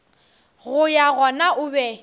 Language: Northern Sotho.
go ya gona o be